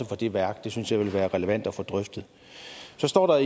for det værk det synes jeg vil være relevant at få drøftet så står der